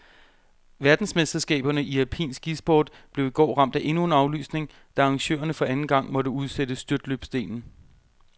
Verdensmesterskaberne i alpin skisport blev i går ramt af endnu en aflysning, da arrangørerne for anden gang måtte udsætte styrtløbsdelen.